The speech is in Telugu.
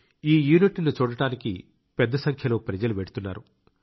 ఈ యూనిట్ను చూడటానికి పెద్ద సంఖ్యలో ప్రజలు వెళ్తున్నారు